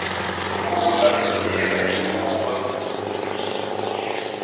pfula yina hiti nguva